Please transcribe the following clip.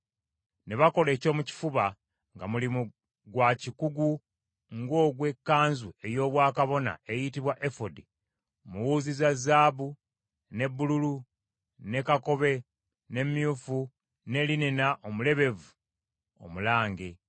Ne bakola ekyomukifuba, nga mulimu gwa kikugu ng’ogw’ekkanzu ey’obwakabona eyitibwa efodi, mu wuzi za zaabu, ne bbululu, ne kakobe ne myufu ne linena omulebevu omulange.